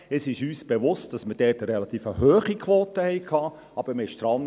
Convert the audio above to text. Es ist uns bewusst, dass wir eine relativ hohe Quote hatten.